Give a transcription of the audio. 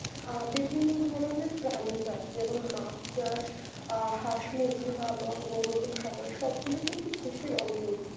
আ বিভিন্ন ধরনের প্রাণী চাষ যেমন মাছ চাষ আহ হাঁস মুরগি পালন গরুর খামার সবগুলো কিন্তু কৃষির অন্তর্ভুক্ত